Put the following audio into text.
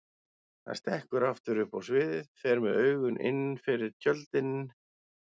Hann stekkur aftur upp á sviðið, fer með augun innfyrir tjöldin.